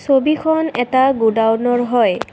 ছবিখন এটা গডাউনৰ হয়।